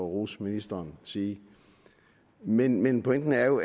rose ministeren sige men men pointen er jo